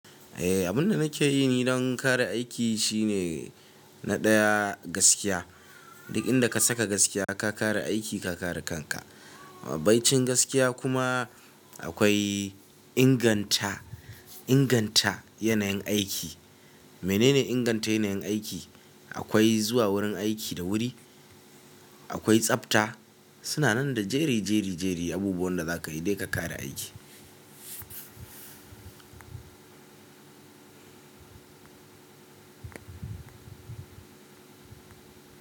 Eh, abunda nake yi ni don kare aiki shine na ɗaya gaskiya. Duk inda ka saka gaskiya ka kare aiki ka kare kanka. Bai cin gaskiya kuma akwai inganta, inganta yanayin aiki. Menene inganta yanayin aiki? Akwai zuwa wurin aiki da wuri, akwai tsafta. Suna nan da jeri, jeri, jeri abubuwan da za ka yi dai ka kare aiki.